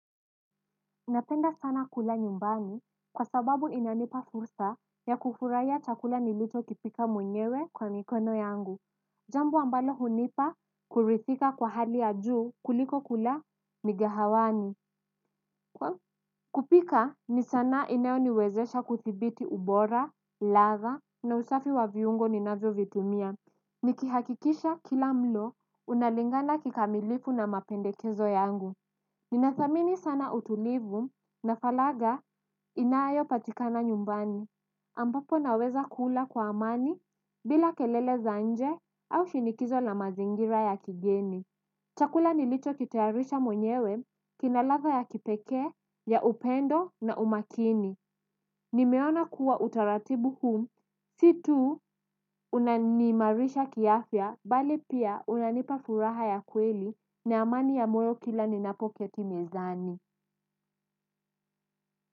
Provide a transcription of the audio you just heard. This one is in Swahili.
Napenda sana kula nyumbani kwa sababu inanipa fursa ya kufurahia chakula nilicho kipika mwenyewe kwa mikono yangu. Jambo ambalo hunipa kuridhika kwa hali ya juu kuliko kula mikahawani. Kupika ni sanaa inayo niwezesha kudhibiti ubora, ladha na usafi wa viungo ninavyo vitumia. Nikihakikisha kila mlo unalingana kikamilifu na mapendekezo yangu. Ninathamini sana utulivu na falagha inayopatikana nyumbani, ambapo naweza kula kwa amani bila kelele za nje au shinikizo la mazingira ya kigeni. Chakula nilicho kitayarishaa mwenyewe, kinaladha ya kipekee, ya upendo na umakini. Nimeona kuwa utaratibu huu, si tu unaniimarisha kiafya, bali pia unanipa furaha ya kweli na amani ya moyo kila ninapoketi mezani.